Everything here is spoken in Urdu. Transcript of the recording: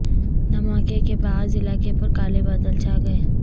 دھماکے کے باعث علاقے پر کالے بادل چھا گئے